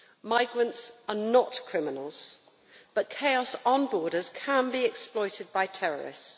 Migrants are not criminals, but chaos on borders can be exploited by terrorists.